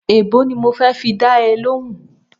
Èèbó ni mo fẹ́ fi dá ẹ lóhùn-ún